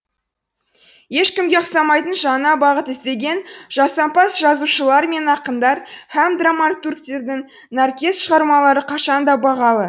ешкімге ұқсамайтын жаңа бағыт іздеген жасампаз жазушылар мен ақындар һәм драматургтердің нәркез шығармалары қашан да бағалы